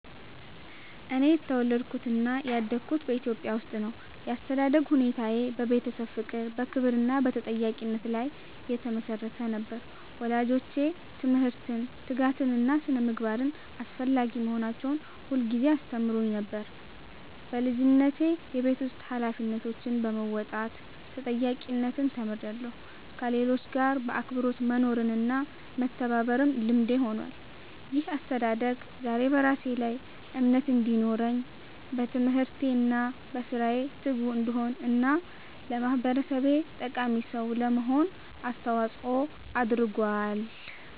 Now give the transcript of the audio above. እኔ የተወለድኩትና ያደግኩት በኢትዮጵያ ውስጥ ነው። ያስተዳደግ ሁኔታዬ በቤተሰብ ፍቅር፣ በክብር እና በተጠያቂነት ላይ የተመሰረተ ነበር። ወላጆቼ ትምህርትን፣ ትጋትን እና ስነ-ምግባርን አስፈላጊ መሆናቸውን ሁልጊዜ ያስተምሩኝ ነበር። በልጅነቴ የቤት ውስጥ ኃላፊነቶችን በመወጣት ተጠያቂነትን ተምሬያለሁ፣ ከሌሎች ጋር በአክብሮት መኖርና መተባበርም ልምዴ ሆኗል። ይህ አስተዳደግ ዛሬ በራሴ ላይ እምነት እንዲኖረኝ፣ በትምህርቴ እና በሥራዬ ትጉ እንድሆን እና ለማህበረሰቤ ጠቃሚ ሰው ለመሆን አስተዋጽኦ አድርጓል።